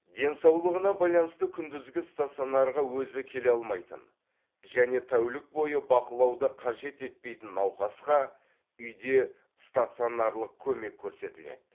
денсаулығына байланысты күндізгі стационарға өзі келе алмайтын және тәулік бойы бақылауды қажет етпейтін науқасқа үйде стационарлық көмек көрсетіледі